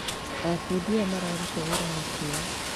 Aabundi aya nĩ mararuta wĩra na kĩyo.